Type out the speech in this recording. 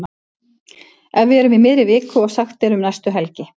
Ef við erum í miðri viku og sagt er um næstu helgi.